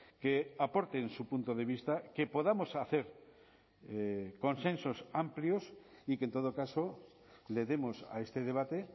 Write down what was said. que aporten su punto de vista que podamos hacer consensos amplios y que en todo caso le demos a este debate